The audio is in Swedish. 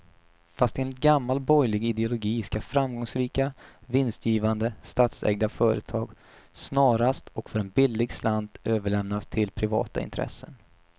Fast enligt gammal borgerlig ideologi ska framgångsrika, vinstgivande statsägda företag snarast och för en billig slant överlämnas till privata intressen.